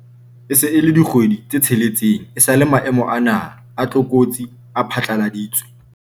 E se e le dikgwedi tse tsheletseng esale maemo a naha a tlokotsi a phatlaladitswe.